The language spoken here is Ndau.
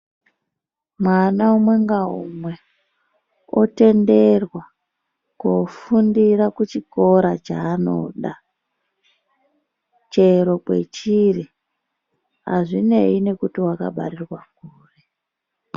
Mwana umwe ngaumwe otenderwa kofundira kuchikora chaanoda chero kwechiri. Hazvinei nekuti wakabarirwa kuri.